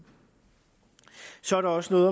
så er der også noget